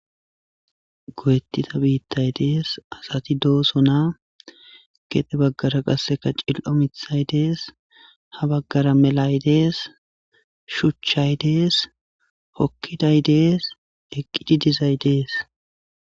Goyettita biittay dees asati dooso naa gede baggara qasseka cil7o mithay dees ha baggara melay dees shuchchay dees hokkiday dees eqqidi dizay dees.